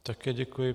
Také děkuji.